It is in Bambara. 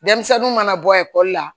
Denmisɛnninw mana bɔ ekɔli la